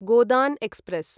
Godan express